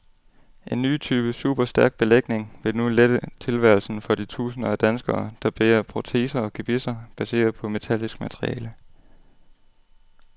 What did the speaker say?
En ny type superstærk belægning vil nu lette tilværelsen for de tusinder af danskere, der bærer proteser og gebisser baseret på metallisk materiale.